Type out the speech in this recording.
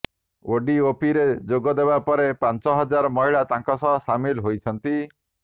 ଓଡିଓପିରେ ଯୋଗଦେବା ପରେ ପାଞ୍ଚ ହଜାର ମହିଳା ତାଙ୍କ ସହ ସାମିଲ୍ ହୋଇଛନ୍ତି